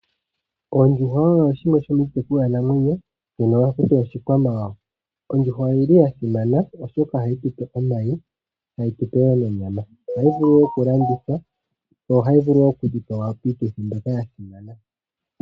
Oondjuhwa oyo shimwe shomiitekulwa namwenyo mbyono haku tiwa oshikwamawawa. Ondjuhwa oyili ya simana oshoka ohayi tupe omayi tayi tupe wo onyama. Ohayi vulu wo okulandithwa yo ohayi vulu okudhipagwa piituthi mbyoka ya simana.